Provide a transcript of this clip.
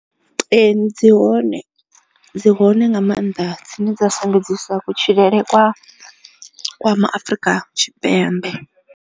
Ee dzi hone dzi hone nga maanḓa dzine dza sumbedzisa kutshilele kwa Kwa Maafrika Thipembe.